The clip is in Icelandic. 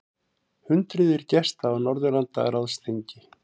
Hundruðir gesta á Norðurlandaráðsþingi